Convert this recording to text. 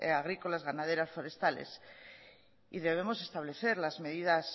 agrícolas ganaderas y forestales y debemos establecer las medidas